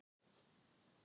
Allt annað kannski.